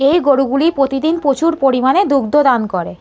এই গরুগুলি প্রতিদিন প্রচুর পরিমানে দুগ্ধ দান করে।